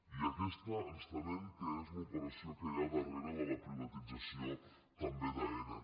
i aquesta ens temem que és l’operació que hi ha darrere de la privatització també d’aena